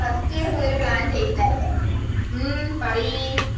first year മുതല് plan ചെയ്യുന്നയല്ലേ ഉം പറിയ്